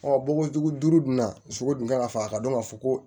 bɔgɔ dugu duuru dun na sogo dun kan ka fa a ka dɔn ka fɔ ko